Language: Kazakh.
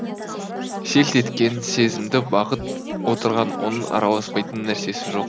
селт еткен сезімді бағып отырған оның араласпайтын нәрсесі жоқ